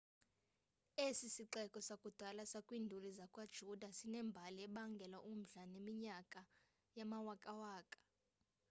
esi sixeko sakudala sakwiinduli zakwayuda sinembali ebangela umdla yeminyaka yamawakawaka